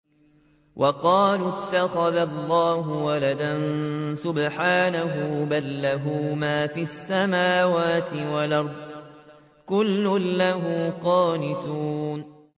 وَقَالُوا اتَّخَذَ اللَّهُ وَلَدًا ۗ سُبْحَانَهُ ۖ بَل لَّهُ مَا فِي السَّمَاوَاتِ وَالْأَرْضِ ۖ كُلٌّ لَّهُ قَانِتُونَ